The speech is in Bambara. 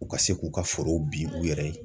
U ka se k'u ka forow bin u yɛrɛ ye